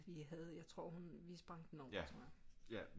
Vi havde jeg tror hun vi sprang den over tror jeg